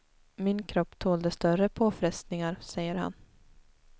Min kropp tålde större påfrestningar, säger han.